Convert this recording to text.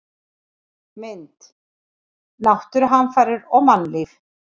Mynd: Náttúruhamfarir og mannlíf